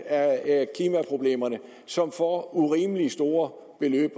af klimaproblemerne og som får urimelig store